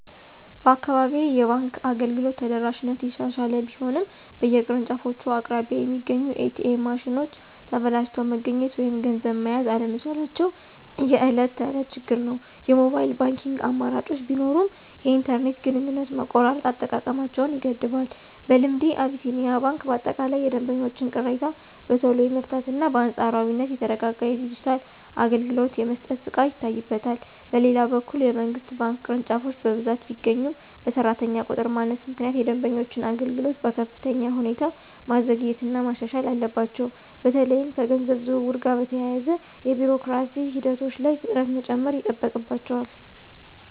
በአካባቢዬ የባንክ አገልግሎት ተደራሽነት እየተሻሻለ ቢሆንም፣ በየቅርንጫፎቹ አቅራቢያ የሚገኙት ኤ.ቲ.ኤም ማሽኖች ተበላሽተው መገኘት ወይም ገንዘብ መያዝ አለመቻላቸው የዕለት ተዕለት ችግር ነው። የሞባይል ባንኪንግ አማራጮች ቢኖሩም፣ የኢንተርኔት ግንኙነት መቆራረጥ አጠቃቀማቸውን ይገድባል። በልምዴ፣ አቢሲኒያ ባንክ በአጠቃላይ የደንበኞችን ቅሬታ በቶሎ የመፍታትና በአንጻራዊነት የተረጋጋ የዲጂታል አገልግሎት የመስጠት ብቃት ይታይበታል። በሌላ በኩል፣ የመንግሥት ባንክ ቅርንጫፎች በብዛት ቢገኙም፣ በሠራተኛ ቁጥር ማነስ ምክንያት የደንበኞችን አገልግሎት በከፍተኛ ሁኔታ ማዘግየትና ማሻሻል አለባቸው። በተለይም ከገንዘብ ዝውውር ጋር በተያያዙ የቢሮክራሲ ሂደቶች ላይ ፍጥነት መጨመር ይጠበቅባቸዋል።